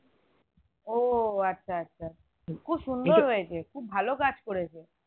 ওহ আচ্ছা আচ্ছা খুব সুন্দর হয়েছে খুব ভালো কাজ করেছে